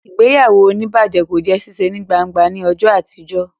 Ìgbéyàwó onibaje kò jé ṣiṣe ní gbángba ní ọjọ àtijọ